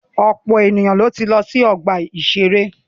Ọ̀pọ̀ èèyàn ni wọ́n ti lọ sí ọgbà-ìṣeré